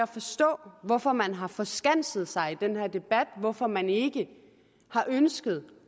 forstå hvorfor man har forskanset sig i den her debat hvorfor man ikke har ønsket